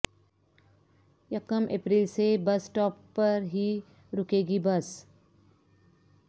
یکم اپریل سے bus stop پر ہی رکے گی بس